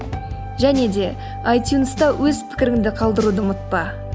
және де айтюнста өз пікіріңді қалдыруды ұмытпа